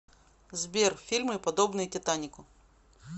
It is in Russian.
сбер фильмы подобные титанику